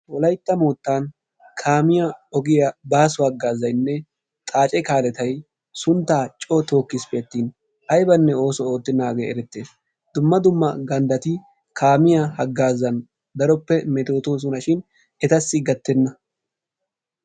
Wolaytta moottan kaamiyaa ogiyaa baasso haagazaynne xaace kaalletay suntta coo tookkisppe attin aybbanne ooso oottenaage erettees, dumma dumma ganddati kaamiyaa hagaazan daroppe metotoosona shin etassi gattenna.